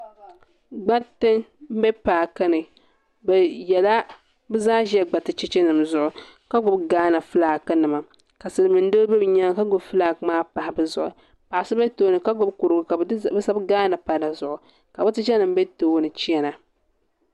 gbariti m-be paaki ni bɛ yela bɛ zaa ʒila ɡbariti chechenima zuɣu ka ɡbubi Ghana filaakinima ka silimiin' doo doli bɛ nyaaŋa ka ɡbubi filaaki maa pahi bɛ zuɣu paɣ' so be tooni ka ɡbubi kuriɡu ka bɛ sabi Ghana pa di zuɣu ka bɛ tichanima be tooni chana